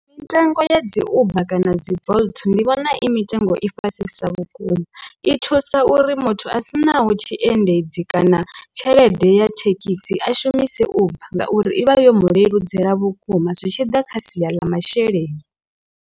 Mitengo ya dzi uber kana dzi bolt ndi vhona i mitengo i fhasisa vhukuma i thusa uri muthu a sinaho tshi endedzi kana tshelede ya thekhisi a shumise uber ngauri i vha yo mu leludzela vhukuma zwi tshi ḓa kha sia ḽa masheleni.